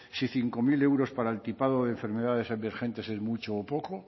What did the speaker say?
si cinco mil euros para el tipado de enfermedades emergentes es mucho un poco